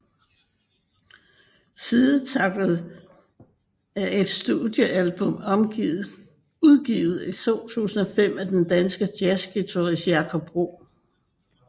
Sidetracked er et studiealbum udgivet i 2005 af den danske jazzguitarist Jakob Bro